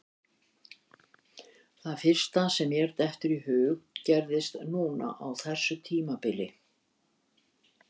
Það fyrsta sem mér dettur í hug gerðist núna á þessu tímabili.